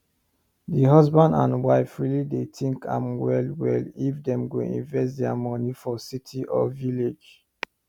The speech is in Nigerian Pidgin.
the husband and wife really dey think am well well if them go invest there money for city or village